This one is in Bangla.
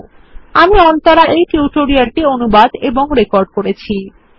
httpspoken tutorialorgNMEICT Intro আমি অন্তরা এই টিউটোরিয়াল টি অনুবাদ এবং রেকর্ড করেছি